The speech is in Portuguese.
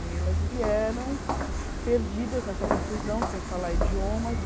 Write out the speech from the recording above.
E elas vieram perdidas nessa confusão, sem falar idiomas.